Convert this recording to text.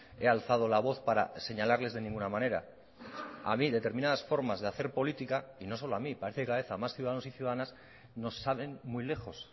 he alzado la voz para señalarles de ninguna manera a mí determinadas formas de hacer política y no solo a mí parece que cada vez más a más ciudadanos y ciudadanas nos saben muy lejos